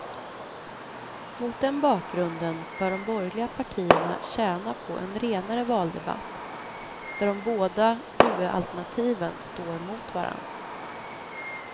Mot den bakgrunden bör de borgerliga partierna tjäna på en renare valdebatt, där de båda huvudalternativen står mot varandra.